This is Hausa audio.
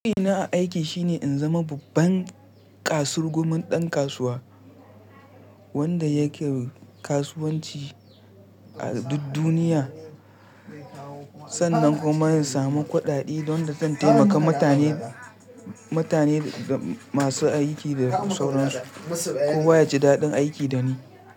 Ina aiki shine in zama babban kasurgumin dan kasuwa wanda yake kasuwanci a duk duniya. Sannan kuma in samu kuɗaɗe don da zan taimaka mutane masu aiki da sauran su. Kowa ya ji daɗin aiki da ni.